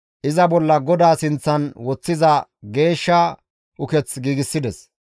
iza bolla GODAA sinththan woththiza geeshsha uketh giigsides.